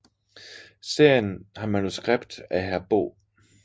Serien har manuskript af Bo Hr